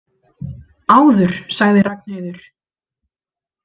Áður, sagði Ragnheiður.